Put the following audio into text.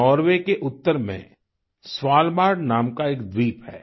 Norway के उत्तर में स्वालबार्ड नाम का एक द्वीप है